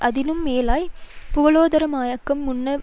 அதனிலும் மேலாய் பூகோள மயமாக்கம் முன்னர்